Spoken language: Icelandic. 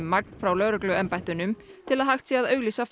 magn frá lögregluembættunum til að hægt sé að auglýsa